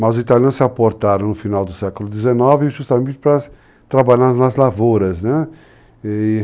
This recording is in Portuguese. Mas os italianos se aportaram no final do século XIX justamente para trabalhar nas lavouras, né?